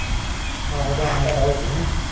ਆਹੋ ਦਸਮੇਂ ਤੇ ਹੋ ਜਾ ਵੀ